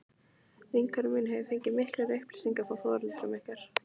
Vinkona mín hefur því fengið miklar upplýsingar frá foreldrum ykkar.